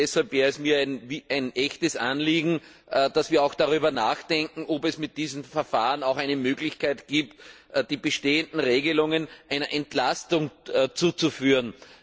Deshalb wäre es mir ein echtes Anliegen, dass wir auch darüber nachdenken, ob es mit diesem Verfahren auch eine Möglichkeit gibt, die bestehenden Regelungen einer Entlastung zuzuführen.